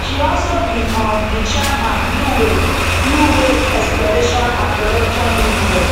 she also be um di chairman bluewave bluewave exploration and production limited